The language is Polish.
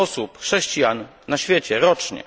osób, chrześcijan na świecie rocznie.